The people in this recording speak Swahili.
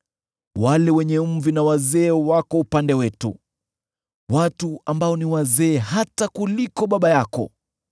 Wale wenye mvi na wazee wako upande wetu, watu ambao ni wazee hata kuliko baba yako.